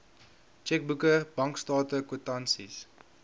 tjekboeke bankstate kwitansies